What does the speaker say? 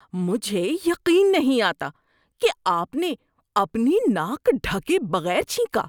مجھے یقین نہیں آتا کہ آپ نے اپنی ناک ڈھکے بغیر چھینکا۔